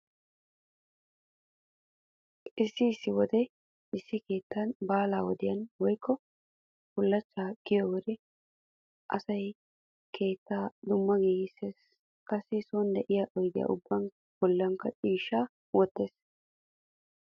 Issi issi wode issi keettan baala wodiyan woykko bullachchay kiyiyo wode asay keettaa dumma giigissees. Qassi sooni diya oyde ubbaa bollikka ciishshaa wottees.